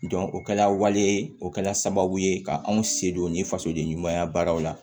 o kɛra waleya ye o kɛla sababu ye ka anw se don nin fasoden ɲumanya baaraw la